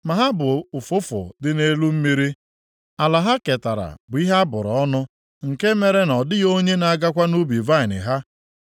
“Ma ha bụ ụfụfụ dị nʼelu mmiri; ala ha ketara bụ ihe a bụrụ ọnụ, nke mere na ọ dịghị onye na-agakwa nʼubi vaịnị ha.